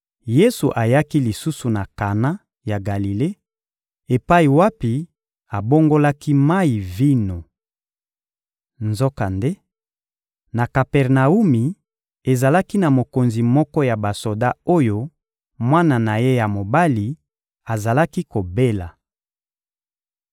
Yesu ayaki lisusu na Kana ya Galile, epai wapi abongolaki mayi vino. Nzokande, na Kapernawumi, ezalaki na mokonzi moko ya basoda oyo mwana na ye ya mobali azalaki kobela.